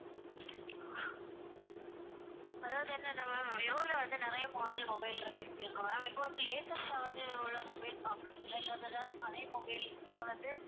அதாவது என்னன்னா ma'am விவோல வந்து நிறைய model mobile இருக்கு இருக்கு ma'am இப்ப வந்து latest ஆ வந்து உள்ள mobile பாக்கறீங்களா இல்ல அது ஏதாவது பழைய mobile நீங்க வந்து